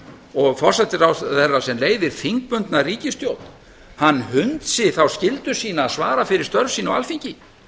og forsætisráðherra sem leiðir þingbundna ríkisstjórn hann hunsi þá skyldu sína að svara fyrir störf sín á alþingi